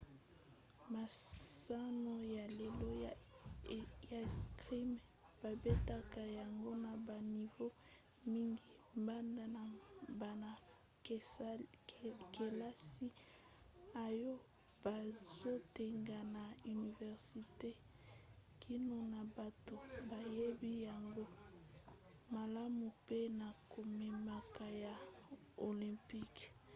masano ya lelo ya 'escrime babetaka yango na banivo mingi banda na bana-kelasi oyo bazotanga na universite kino na bato bayebi yango malamu pe na komemaka ya olympique